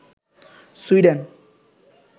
Sweden